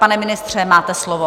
Pane ministře, máte slovo.